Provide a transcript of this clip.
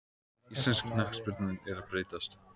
Íslensk knattspyrna er að breytast.